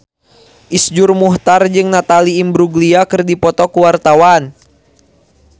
Iszur Muchtar jeung Natalie Imbruglia keur dipoto ku wartawan